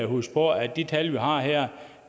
huske på at de tal vi har her